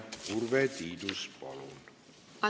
Urve Tiidus, palun!